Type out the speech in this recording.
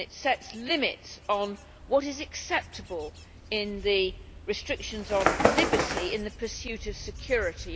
It sets limits on what is acceptable in the restrictions on liberty in the pursuit of security.